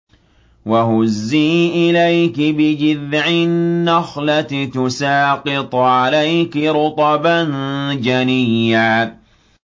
وَهُزِّي إِلَيْكِ بِجِذْعِ النَّخْلَةِ تُسَاقِطْ عَلَيْكِ رُطَبًا جَنِيًّا